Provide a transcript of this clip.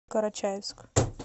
карачаевск